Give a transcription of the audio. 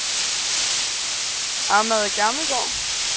Ahmad Gammelgaard